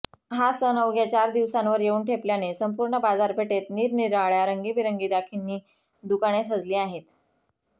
हा सण अवघ्या चार दिवसांवर येऊन ठेपल्याने संपूर्ण बाजारपेठेत निरनिराळ्या रंगीबेरंगी राखींनी दुकाने सजली आहेत